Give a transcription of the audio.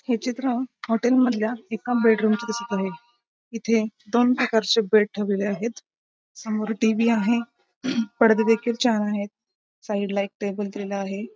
हे चित्र हॉटेल मधल्या एका बेडरूम चे दिसत आहे इथे दोन प्रकारचे बेड ठेवलेले आहेत समोर टी.व्ही. आहे पडदे देखील चार आहेत साईड ला एक टेबल दिलेला आहे.